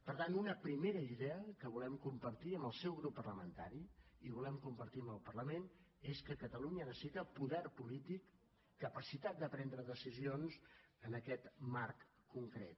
per tant una primera idea que volem compartir amb el seu grup parlamentari i volem compartir amb el parlament és que catalunya necessita poder polític capacitat de prendre decisions en aquest marc concret